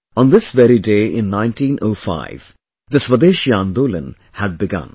On this very day in 1905, the Swadeshi Andolan had begun